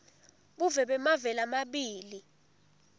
buve bemave lamabili